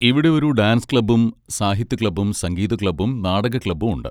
ഇവിടെ ഒരു ഡാൻസ് ക്ലബ്ബും സാഹിത്യ ക്ലബ്ബും സംഗീത ക്ലബ്ബും നാടക ക്ലബ്ബും ഉണ്ട്.